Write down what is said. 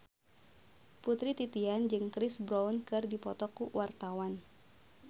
Putri Titian jeung Chris Brown keur dipoto ku wartawan